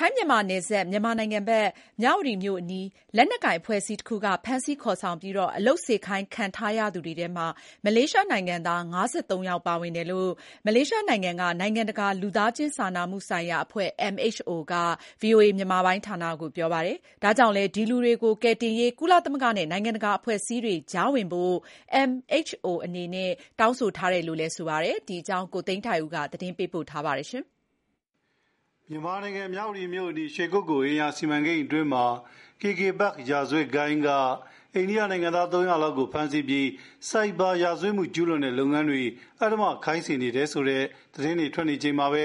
ထိုင်းမြန်မာနယ်စပ် မြန်မာနိုင်ငံဘက် မြဝတီမြို့အနီး လက်နက်ကိုင်အဖွဲ့အစည်းတခုက ဖမ်းဆီးခေါ်ဆောင်ပြီး အလုပ်ခိုင်းစေခံထားရသူတွေထဲမှာ မလေးရှားနိုင်ငံသား ၅၃ ယောက်ပါတယ် လို့ မလေးရှားနိုင်ငံက နိုင်ငံတကာလူသားချင်းစာနာမှုဆိုင်ရာအဖွဲ့ MHO က VOA မြန်မာပိုင်းကို ပြောပါတယ်။ ဒါကြောင့်လည်း ဒီလူတွေကို ကယ်တင်ရေး ကုလသမဂ္ဂနဲ့ နိုင်ငံတကာ အဖွဲ့အစည်းတွေ ကြားဝင်ဖို့ MHO အဖွဲ့က တောင်းဆိုနေပါတယ်။ ကိုသိန်းထိုက်ဦး သတင်းပေးပို့ထားပါတယ်။ မြန်မာနိုင်ငံ မြဝတီမြို့အနီး ရွှေကုက္ကို အိမ်ယာစီမံကိန်းအတွင်းမှာ KK Park ရာဇဝတ်ဂိုဏ်းက အိန္ဒိယနိုင်ငံသား ၃၀၀ လောက်ကို ဖမ်းဆီးပြီး ဆိုက်ဘာရာဇဝတ်မှု ကျူးလွန်တဲ့လုပ်ငန်းတွေ အဓမ္မခိုင်းစေနေတယ်ဆိုတဲ့ သတင်းတွေ ထွက်နေချိန်မှာပဲ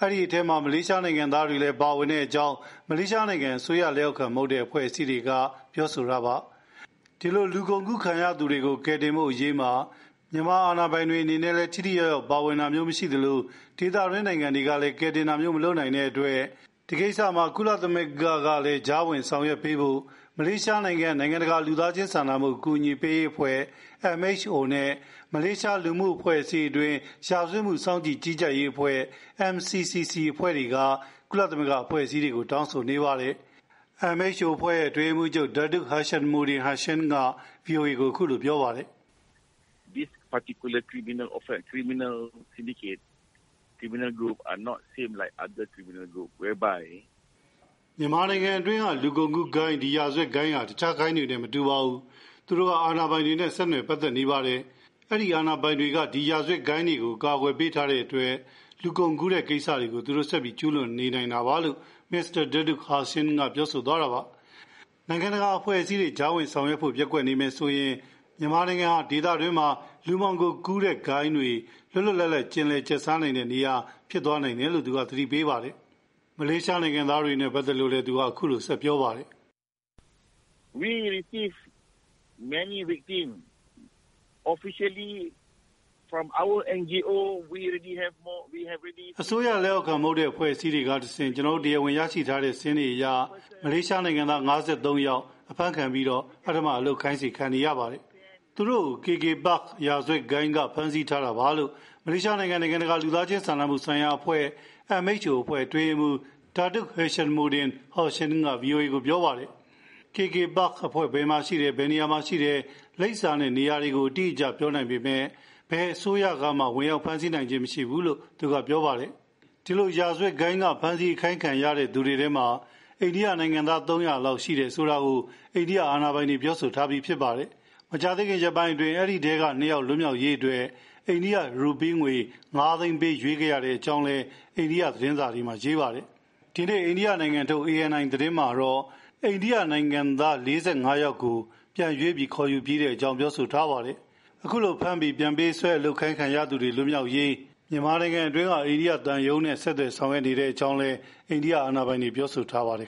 အဲဒီအထဲမှာ မလေးရှားနိုင်ငံသားတွေလည်း ပါဝင်တဲ့အကြောင်း မလေးရှားနိုင်ငံက အစိုးရလက်အောက်ခံမဟုတ်တဲ့ အဖွဲ့အစည်းတွေက ဒီထဲမှာ မလေးရှားနိုင်ငံသားတွေလည်း ပါဝင်တယ်ဆိုပြီး ပြောဆိုတာပါ။ ဒီလို လူကုန်ကူးခံရသူတွေ ကယ်တင်နိုင်ရေးမှာ မြန်မာအာဏာပိုင်တွေ ထိထိရောက်ရောက်ဝင်ပြီး ကယ်တင်တာမျိုးမလုပ်နိုင်သလို ဒေသတွင်းနိုင်ငံတွေကလည်း ဝင်ရောက်ကယ်တင်တာမျိုး မလုပ်နိုင် တဲ့အတွက် ဒီကိစ္စမှာ ကုလသမဂ္ဂက ကြားဝင်ဆောင်ရွက်ပေးဖို့ မလေးရှားနိုင်ငံတကာ လူသားချင်းစာနာမှုအကူအညီပေးရေးအဖွဲ့ MHO နဲ့ မလေးရှား လူမှုအဖွဲ့အစည်းအတွင်း ရာဇဝတ်မှုတွေ စောင့်ကြည့် တဲ့ MCCC အဖွဲ့တွေက ကုလသမဂ္ဂ အဖွဲ့အစည်းတွေကို တောင်းဆိုပါတယ်။ MHO အဖွဲ့ အတွင်းရေးမှူးချုပ် Datuk Hishamuddin Hashim က VOA ကို အခုလို ပြောပါတယ်။ “မြန်မာနိုင်ငံအတွင်းက လူကုန်ကူးဂိုဏ်း ဒီရာဇဝတ်ဂိုဏ်းဟာ တခြားဂိုဏ်းတွေနဲ့ မတူပါဘူး။ သူတို့က အာဏာပိုင်တွေနဲ့ ဆက်နွယ်ပတ်သက်နေပါတယ်။ အဲဒီအာဏာပိုင်တွေက ဒီ ရာဇဝတ်ဂိုဏ်းတွေကို အကာအကွယ်ပေးထားတဲ့အတွက် လူကုန်ကူးတဲ့ကိစ္စတွေကို သူတို့ဆက်ပြီး ကျုးလွန်နေနိုင်တာပါ” လို့ Mr. Datuk Hashim က ပြောသွားတာပါ။ နိုင်ငံတကာအဖွဲ့အစည်းတွေ ကြားဝင်ဆောင်ရွက်ဖို့ ပျက်ကွက်နေမယ်ဆိုရင် မြန်မာနိုင်ငံဟာ ဒေသတွင်း လူမှောင်ခိုကုန်ကူးတဲ့ဂိုဏ်းတွေ လွတ်လွတ်လပ်လပ် ကျင်လည်ကျက်စားနိုင်တဲ့နေရာ ဖြစ်သွားလိမ့်မယ်လို့ သတိပေးပါတယ်။ မလေးရှားနိုင်ငံသားတွေနဲ့ ပတ်သက်လို့လည်း သူက အခုလို ဆက်ပြောပါတယ်။ “အစိုးရလက်အောက်ခံမဟုတ်တဲ့ အဖွဲ့အစည်းတွေကတဆင့် ကျနော်တို့ တရားဝင်ရရှိထားတဲ့ စာရင်းတွေအရ မလေးရှားနိုင်ငံသား ၅၃ ယောက် ဖမ်းဆီးခံရပြီး အလုပ်လုပ်ခိုင်းခံနေရပါတယ်။ သူတို့ကို KK Park ရာဇာဝတ်ဂိုဏ်းက ဖမ်းဆီးထားတာပါလို့ မလေးရှားနိုင်ငံ နိုင်ငံတကာ လူသားချင်းစာနာမှုဆိုင်ရာ အဖွဲ့ MHO အဖွဲ့ အတွင်းရေးမှူးချုပ် Datuk Hishamuddin Hashim က VOA ကိုပြောပါတယ်။ KK Park အဖွဲ့ဘယ်မှာရှိတယ်၊ ဘယ်နေရာမှာရှိတယ်၊ လိပ်စာနဲ့ နေရာ အတိအကျ ပြောနိုင်ပေမယ့် ဘယ်အစိုးရက မှ ဝင်ရောက်ဖမ်းဆီးနိုင်ခြင်း မရှိဘူး” လို့ သူက ပြောပါတယ်။ ဒီလို ရာဇဝတ်ဂိုဏ်းတွေ ဖမ်းဆီးခံရပြီး အလုပ်ခိုင်းခံနေရသူတွေထဲမှာ အိန္ဒိယနိုင်ငံသား ၃၀၀ လောက် ရှိတယ်ဆိုတာကို အိန္ဒိယအစိုးရ တာဝန်ရှိသူတွေက ပြောဆိုထားပါတယ်။ မကြာသေးခင်ကပဲ အဲဒီထဲက ၂ ယောက်လွတ်မြောက်ရေး အိန္ဒိယ ရူပီးငွေ ငါးသိန်းပေးရွေးခဲ့ရတဲ့အကြောင်းနဲ့ အဲဒီအထဲက ၄၅ ယောက်ကို ဒီရက်ပိုင်းအတွင်း ပြန်လည် ကယ်တင်ထားတဲ့အကြောင်း ဒီနေ့ အိန္ဒိယနိုင်ငံထုတ် ANI သတင်းမှာ ဖေါ်ပြပါတယ်။ ဖမ်းပြီး ပြန်ပေးဆွဲအလုပ်ခိုင်းခံရသူတွေ လွတ်မြောက်ရေး မြန်မာနိုင်ငံအတွင်းက အိန္ဒိယသံရုံးနဲ့ ဆက်သွယ်ဆောင်ရွက်နေတဲ့အကြောင်းလည်း အိန္ဒိယတာဝန်ရှိသူတွေ ပြောဆိုထားပါတယ်